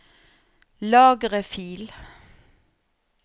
Lagre fil